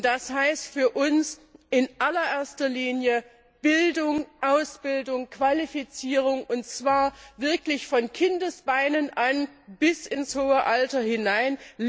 Und das heißt für uns in allererster Linie Bildung, Ausbildung, Qualifizierung, und zwar wirklich von Kindesbeinen an bis ins hohe Alter hinein.